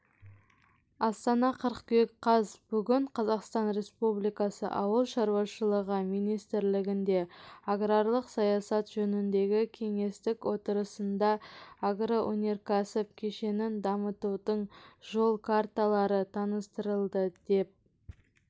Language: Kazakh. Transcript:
астана қыркүйек қаз бүгін қазақстан республикасы ауыл шаруашылығы министрлігінде аграрлық саясат жөніндегі кеңестің отырысында агроөнеркәсіп кешенін дамытудың жол карталары таныстырылды деп